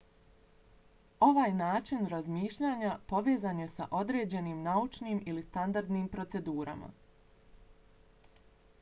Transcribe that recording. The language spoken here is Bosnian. ovaj način razmišljanja povezan je s određenim naučnim ili standardnim procedurama